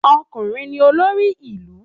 Ọkùnrin ni olórí ilu